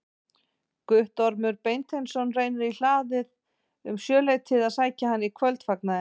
Guttormur Beinteinsson rennir í hlaðið um sjöleytið að sækja hann í kvöldfagnaðinn.